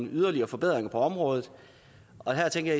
yderligere forbedringer på området og her tænker